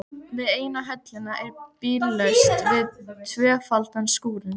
Við eina höllina er bíllaust við tvöfaldan skúrinn.